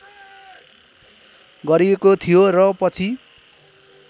गरिएको थियो र पछि